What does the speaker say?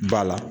Ba la